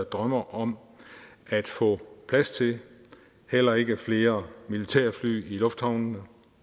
drømmer om at få plads til heller ikke flere militærfly i lufthavnene